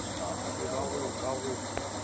se ba go ka go